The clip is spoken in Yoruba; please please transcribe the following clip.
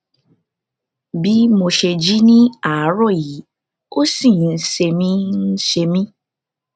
bih mo ṣe jí ní àárọ yìí ó ṣì ń ṣe mí ń ṣe mí